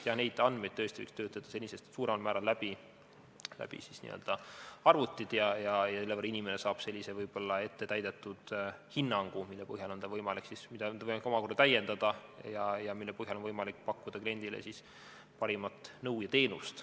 Jah, neid andmeid võiks töötada senisest suuremal määral läbi arvuti abil ja inimene saaks ettetäidetud hinnangu, mida tal on võimalik omakorda täiendada ja mille põhjal on võimalik pakkuda kliendile parimat nõu ja teenust.